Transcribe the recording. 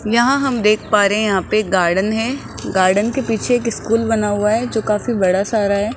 यहां हम देख पा रहे हैं यहां पे एक गार्डन है गार्डन के पीछे एक स्कूल बना हुआ है जो काफी बड़ा सारा है।